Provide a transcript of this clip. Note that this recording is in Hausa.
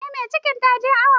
Eh mai cikin taje awo.